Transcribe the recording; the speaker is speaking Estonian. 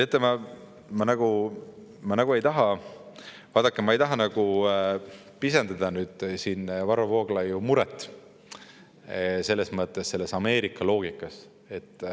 Teate, vaadake, ma ei taha pisendada Varro Vooglaiu loogilist muret seoses Ameerikaga.